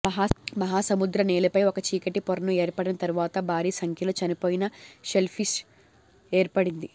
మహాసముద్ర నేలపై ఒక చీకటి పొరను ఏర్పడిన తరువాత భారీ సంఖ్యలో చనిపోయిన షెల్ల్ఫిష్ ఏర్పడింది